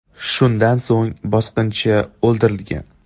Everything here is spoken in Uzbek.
Shundan so‘ng bosqinchi o‘ldirilgan.